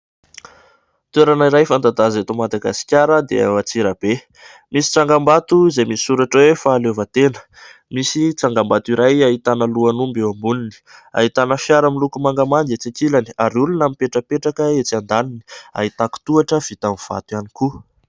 Toerana iray fanta-daza eto Madagasikara dia ao Atsirabe. Misy tsangambato izay misoratra hoe fahaleovantena. Misy tsangambato iray ahitana lohan'omby eo amboniny. Ahitana fiara miloko mangamanga etsy akilany ary olona mipetrapetraka etsy andaniny. Ahitako tohatra vita amin'ny vato ihany koa.